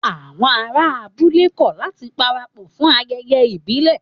Àwọn ará abúlé kọ̀ láti parapọ̀ fún ayẹyẹ ìbílẹ̀